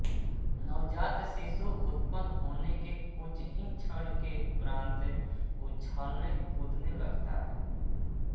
नवजात शिशु उत्पन्न होने के कुछ ही क्षण के उपरांत उछलने कूदने लगता है